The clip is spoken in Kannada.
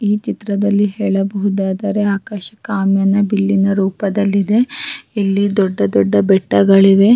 ಈ ಚಿತ್ರದಲ್ಲಿ ಹೇಳ ಬಹುದಾದರೆ ಆಕಾಶ ಕಾಮಿನ ಬಿಲ್ಲಿನ ರೂಪದಲ್ಲಿದೆ ಇಲ್ಲಿ ದೊಡ್ಡ ದೊಡ್ಡ ಬೆಟ್ಟಗಳಿವೆ-